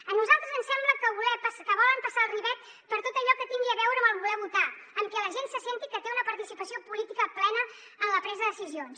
a nosaltres ens sembla que volen passar el ribot per tot allò que tingui a veure amb voler votar amb que la gent senti que té una participació política plena en la presa de decisions